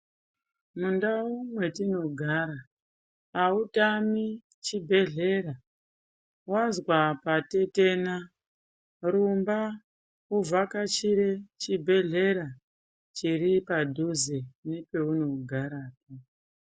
Mundau metinogara hautami chibhedhlera, wanzwa patetena, rumba uvhakachire chibhedhlera chiri padhuze nepeunogara.